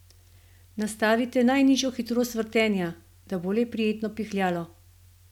Nastavite najnižjo hitrost vrtenja, da bo le prijetno pihljalo.